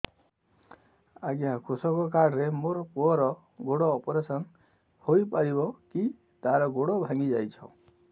ଅଜ୍ଞା କୃଷକ କାର୍ଡ ରେ ମୋର ପୁଅର ଗୋଡ ଅପେରସନ ହୋଇପାରିବ କି ତାର ଗୋଡ ଭାଙ୍ଗି ଯାଇଛ